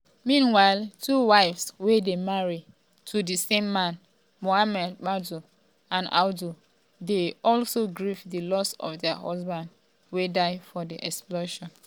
meanwhile two wives wey dey married to di same man muhammadu audu dey also grieve di loss of dia husband wey die for di explosion.